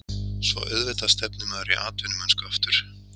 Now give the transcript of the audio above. Svo auðvitað stefnir maður í atvinnumennsku aftur.